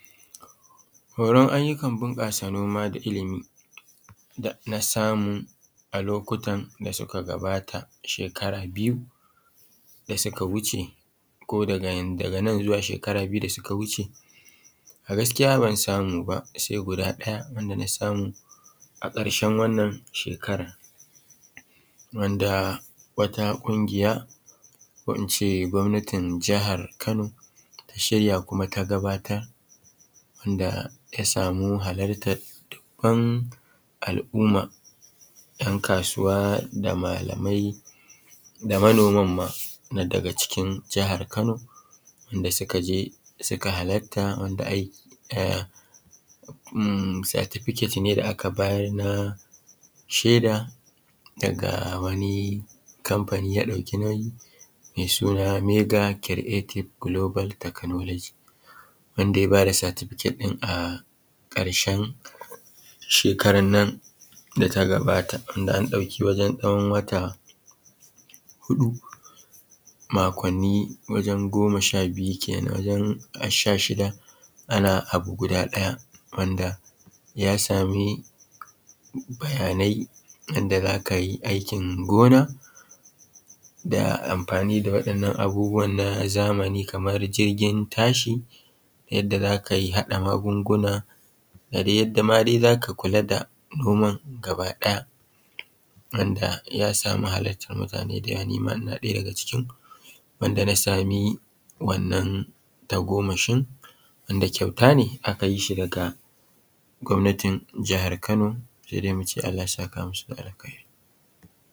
Horan ayyukan bunƙasa noma da ilimi da na samu a lokutan da suka gabata shekara biyu da suka wuce ko daga nan zuwa shekara biyu da suka wuce, a gaskiya ban samu ba sai guda daya da na samu a karshen wannan shekarar wanda wata ƙungiya ko in ce gwamnatin jihar kano ta shirya kuma ta gabatar da ya samu halartar dubban al'umma yan kasuwa da malamai da manoman ma, na daga cikin jihar Kano da suka je suka halarta certificate ne da aka bayar na shaida daga wani kamfani ya ɗauki nauyi mai suna mega creative global technology wansa ya ba da certificate ɗin a ƙarshen shekarar nan da ta gabata. Ya dauki wajen wata huɗu makwanni wajen goma sha biyu kenan, wajen sha shida ana abu guda daya wanda ya sami bayanai yadda za ka yi aikin gina da amfani da waɗannan abubuwan na zamani kamar jirgin ta shi yadda za ka yi haɗa magunguna da dai yadda ma za ka kula da noman daba daya wanda ya sama halartar mutane da yawa nima ina ɗaya daga cikin wanda ya sama tagomashin tunda ƙyau ne aka yi shi daga gwamnatin jihar Kano. Allah ya saka musu da alkairi.